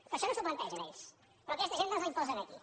però això no s’ho plantegen ells però aquesta agenda ens l’imposen aquí